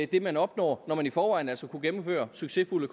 det man opnår når man i forvejen altså kunne gennemføres succesfulde